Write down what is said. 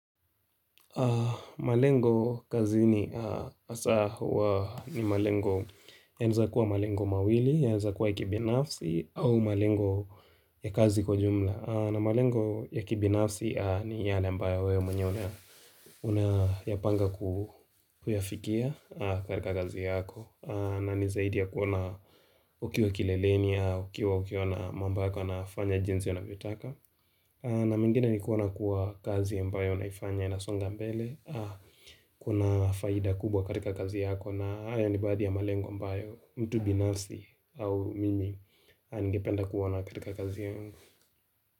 Malengo kazini hasa huwa ni malengo yanaeza kuwa malengo mawili, yaeza kuwa kibinafsi au malengo ya kazi kwa jumla na malengo ya kibinafsi ni yale ambayo wewe mwenye una unayapanga kuyafikia karika kazi yako na nizaidi ya kuona ukiwa kileleni, ukiwa ukiwa na mambo yako yanafanya jinsi anavyotaka na mengine ni kuona kuwa kazi ambayo unaifanya inasonga mbele Kuna faida kubwa katika kazi yako na hayo ni baadhi ya malengo ambayo mtu binafsi au mimi ningependa kuoana katika kazi yako.